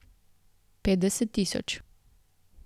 Petdeset tisoč.